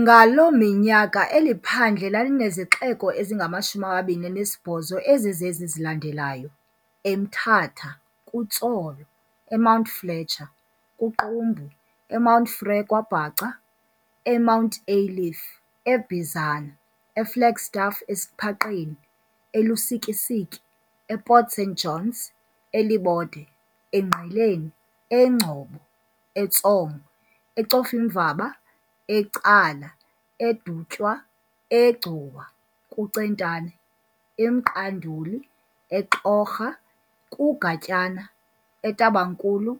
Ngaloo minyaka eli phandle lalinezixeko ezingama-28 ezizezi zilandelayo - eMthatha, kuTsolo, eMount Fletcher, kuQumbu, eMount Frere, kwaBhaca, eMount Aylif, eBhizana, eFlagstaff, eSiphaqeni, eLusikisiki, ePort St Johns, eLibode, Ngqeleni, eNgcobo, eTsomo, eCofimvaba, eCala, eDutywa, eGcuwa, kuCentane, eMqanduli, eXhorha, kuGatyana, eTabankulu,